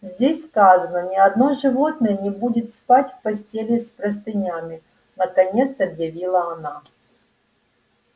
здесь сказано ни одно животное не будет спать в постели с простынями наконец объявила она